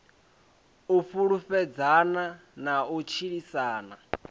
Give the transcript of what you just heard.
u fhulufhelana na u tshilisana